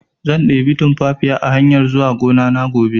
Zan ɗebi tunfafiya a hanyar zuwa gonana gobe